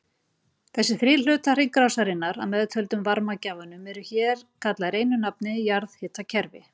Þessir þrír hlutar hringrásarinnar að meðtöldum varmagjafanum eru hér kallaðir einu nafni jarðhitakerfi.